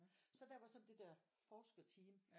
Så derfor så der det der forskerteam